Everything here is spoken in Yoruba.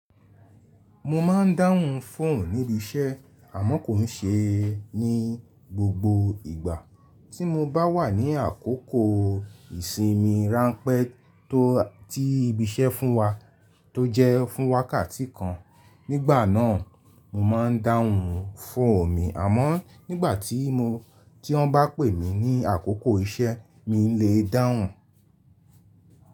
Mo ma ń dáhùn fóònù níbi iṣẹ́ àmọ́ kò ní ṣe é ní gbogbo ìgbà. Tí mo bá wà ní àkókò ìsinmi ráńpẹ́ tó ti ibi iṣẹ́ fún wa tó jẹ́ fún wákàtí kan, nígbà náà mo ma ń dáhùn fóònù mi, àmọ́ nígbà tí wọ́n bá pè mí ní àkókò iṣẹ́, mi le dáhùn.